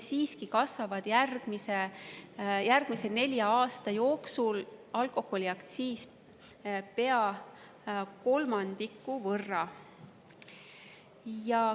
Siiski kasvab järgmise nelja aasta jooksul alkoholiaktsiis pea kolmandiku võrra.